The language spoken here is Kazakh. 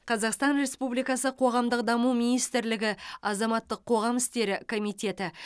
қазақстан республикасы қоғамдық даму министрлігі азаматтық қоғам істері комитеті